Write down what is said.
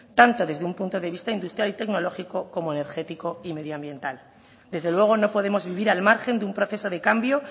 tanto desde un punto de vista industrial y tecnológico como energético y medioambiental desde luego no podemos vivir al margen de un proceso de cambio